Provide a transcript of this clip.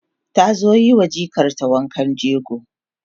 ta zo yiwa jikar ta wankan jego